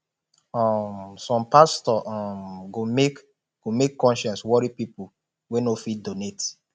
um som pastor um go make go make conscience wori pipol wey no fit donate